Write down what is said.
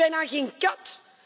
Hier zit bijna geen kat.